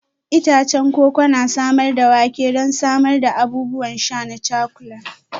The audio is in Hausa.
Itacen koko na samar da wake don samar da abubuwan sha na cakulan.